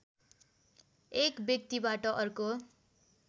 एक व्यक्तिबाट अर्को